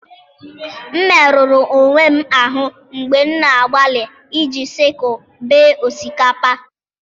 m merụrụ onwe m ahụ mgbe m na-agbalị iji sickle bee osikapa.